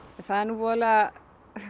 það er nú voðalega